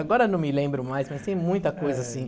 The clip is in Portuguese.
Agora não me lembro mais, mas tem muita coisa assim.